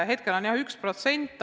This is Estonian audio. Hetkel on jah 1%.